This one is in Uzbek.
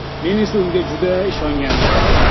Men esa unga juda ishongandim.